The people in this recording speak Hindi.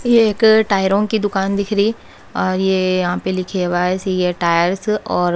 ये एक टायरों की दुकान दिख री और ये यहां पे लिखे ये टायर्स और--